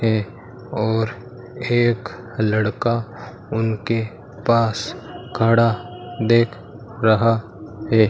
है और एक लड़का उनके पास खड़ा देख रहा है।